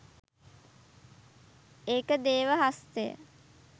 ඒක 'දේව හස්තය'!